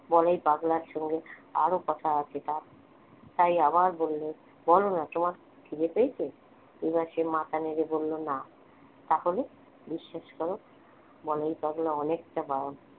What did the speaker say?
বলাই পাগলা সঙ্গে আরো কথা আছে তার তাই আবার বললে বলো না তোমার খিদে পেয়েছে এবার সে মাথা নেড়ে বলল না তাহলে বিশ্বাস করো বলাই পাগলা অনেকটা